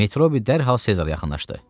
Metrobi dərhal Sezara yaxınlaşdı.